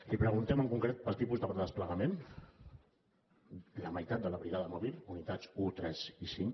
li preguntem en concret pel tipus de desplegament la meitat de la brigada mòbil unitats un tres i cinc